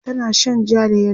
tana Shan jaa da yellow